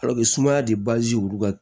sumaya de